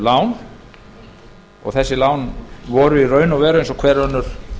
lán og þessi lán voru í raun og veru eins og hver önnur